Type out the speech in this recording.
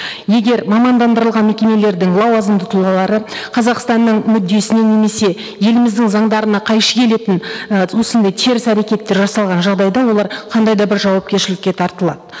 егер мамандандырылған мекемелердің лауазымды тұлғалары қазақстанның мүддесіне немесе еліміздің заңдарына қайшы келетін і осындай теріс әрекеттер жасалған жағдайда олар қандай да бір жауапкершілікке тартылады